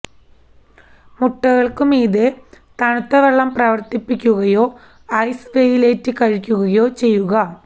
മുട്ടകൾക്കു മീതെ തണുത്ത വെള്ളം പ്രവർത്തിപ്പിക്കുകയോ ഐസ് വെയിലേറ്റ് കഴിക്കുകയോ ചെയ്യുക